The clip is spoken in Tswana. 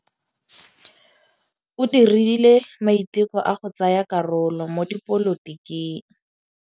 O dirile maitekô a go tsaya karolo mo dipolotiking.